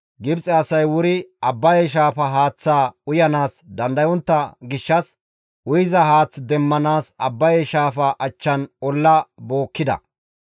Gibxe asay wuri Abbaye shaafa haaththaa uyanaas dandayontta gishshas, uyiza haath demmanaas Abbaye shaafaa achchan olla bookkida.